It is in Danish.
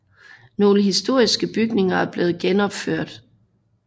Nogle historiske bygninger er blevet genopført